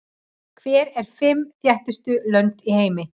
Hver eru fimm þéttbýlustu lönd í heimi?